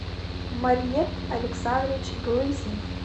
марьет александрович глызин